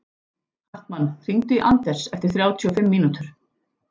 Hartmann, hringdu í Anders eftir þrjátíu og fimm mínútur.